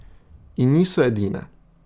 In niso edine ...